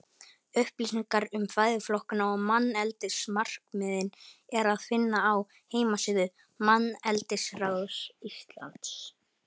Upplýsingar um fæðuflokkana og manneldismarkmiðin er að finna á heimasíðu Manneldisráðs Íslands.